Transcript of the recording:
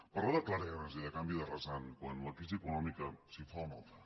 parlar de clarianes i de canvi de rasant quan la crisi econòmica si fa o no fa